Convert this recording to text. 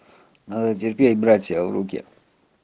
надо терпеть братья в руке